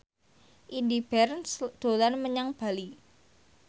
Indy Barens dolan menyang Bali